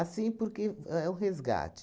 porque é o resgate.